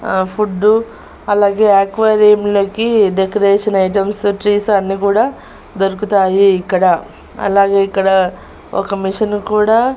ఆ ఫుడ్డు అలాగే ఎక్వేరియం లోకి డెకరేషన్ ఐటమ్స్ ట్రీస్ అన్ని కూడా దొరుకుతాయి ఇక్కడ అలాగే ఇక్కడ ఒక మిషన్ కూడా--